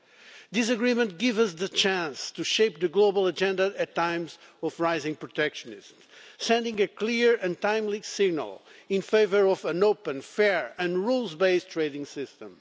It gives us the chance to shape the global agenda at a time of rising protectionism, thus sending a clear and timely signal in favour of an open, fair and rules-based trading system.